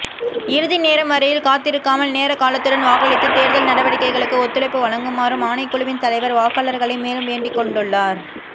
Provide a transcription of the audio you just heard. இறுதி நேரம்வரையில் காத்திருக்காமல் நேரகாலத்துடன் வாக்களித்து தேர்தல் நடவடிக்கைகளுக்கு ஒத்துழைப்பு வழங்குமாறும் ஆணைக்குழுவின் தலைவர் வாக்காளர்களை மேலும் வேண்டிக் கொண்டுள்ளார்